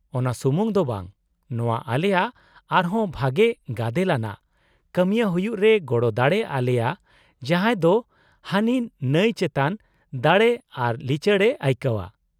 - ᱚᱱᱟ ᱥᱩᱢᱩᱝ ᱫᱚ ᱵᱟᱝ , ᱱᱚᱶᱟ ᱟᱞᱮᱭᱟᱜ ᱟᱨ ᱦᱚᱸ ᱵᱷᱟᱜᱮ ᱜᱟᱫᱮᱞ ᱟᱱᱟᱜ ᱠᱟᱹᱢᱤᱭᱟᱹ ᱦᱩᱭᱩᱜ ᱨᱮ ᱜᱚᱲᱚ ᱫᱟᱲᱮ ᱟᱞᱮᱭᱟ ᱡᱟᱦᱟᱸᱭ ᱫᱚ ᱦᱟᱱᱤ ᱱᱟᱹᱭ ᱪᱮᱛᱟᱱ ᱫᱟᱲᱮ ᱟᱨ ᱞᱤᱪᱟᱹᱲᱮ ᱟᱹᱭᱠᱟᱹᱣᱼᱟ ᱾